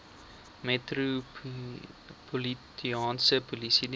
metropolitaanse polisie diens